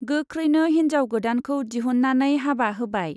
गोख्रैनो हिन्जाव गोदानखौ दिहुन्नानै हाबा होबाय।